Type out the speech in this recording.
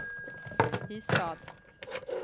Ystad